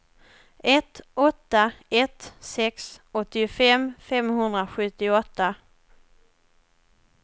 ett åtta ett sex åttiofem femhundrasjuttioåtta